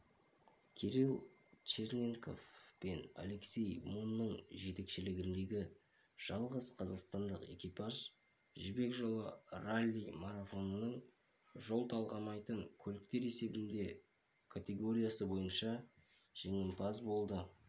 кирилл черненков пен алексей мунның жетекшілігіндегі жалғыз қазақстандық экипаж жібек жолы ралли-марафонының жол талғамайтын көліктер есебінде категориясы бойынша жеңімпаз болды